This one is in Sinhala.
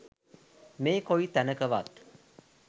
මේ කොයි තැනකවත්